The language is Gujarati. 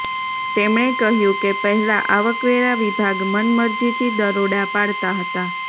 તેમણે કહ્યું કે પહેલા આવકવેરા વિભાગ મનમરજીથી દરોડા પાડતા હતાં